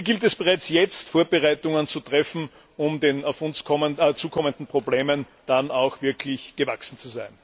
Hier gilt es bereits jetzt, Vorbereitungen zu treffen, um den auf uns zukommenden Problemen dann auch wirklich gewachsen zu sein.